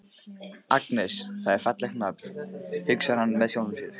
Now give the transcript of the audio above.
Agnes, það er fallegt nafn, hugsar hann með sjálfum sér.